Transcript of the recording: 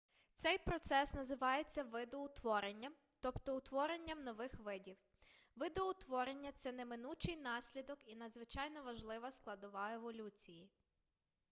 цей процес називається видоутворенням тобто утворенням нових видів видоутворення це неминучий наслідок і надзвичайно важлива складова еволюції